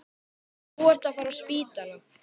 Nú ertu að fara á spítala